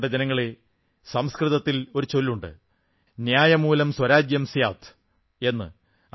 പ്രിയപ്പെട്ട ജനങ്ങളേ സംസ്കൃതത്തിൽ ഒരു ചൊല്ലുണ്ട് ന്യായമൂലം സ്വരാജ്യം സ്യാത് എന്ന്